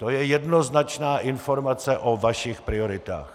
To je jednoznačná informace o vašich prioritách.